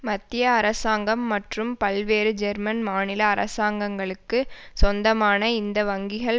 மத்திய அரசாங்கம் மற்றும் பல்வேறு ஜெர்மன் மாநில அரசாங்கங்களுக்கு சொந்தமான இந்த வங்கிகள்